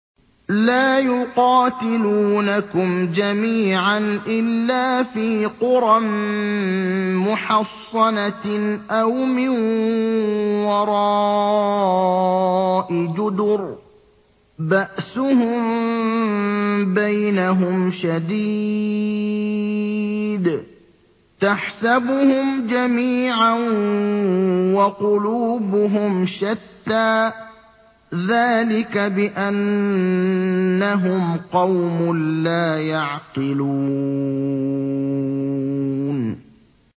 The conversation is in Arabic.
لَا يُقَاتِلُونَكُمْ جَمِيعًا إِلَّا فِي قُرًى مُّحَصَّنَةٍ أَوْ مِن وَرَاءِ جُدُرٍ ۚ بَأْسُهُم بَيْنَهُمْ شَدِيدٌ ۚ تَحْسَبُهُمْ جَمِيعًا وَقُلُوبُهُمْ شَتَّىٰ ۚ ذَٰلِكَ بِأَنَّهُمْ قَوْمٌ لَّا يَعْقِلُونَ